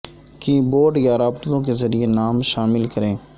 کی بورڈ یا رابطوں کے ذریعے نام شامل کریں